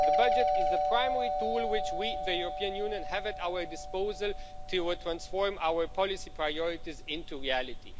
The budget is a primary tool which we, the European Union, have at our disposal to transform our policy priorities into reality.